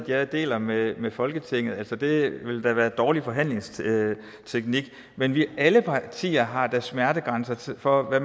jeg deler med med folketinget det ville da være en dårlig forhandlingsteknik men alle partier har da smertegrænser for hvad